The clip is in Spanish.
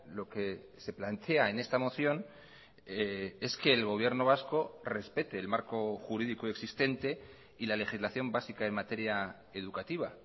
lo que se plantea en esta moción es que el gobierno vasco respete el marco jurídico existente y la legislación básica en materia educativa